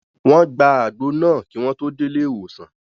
Wọ́n gba àgbo náà kí wọ́n tó dé ilé ìwòsàn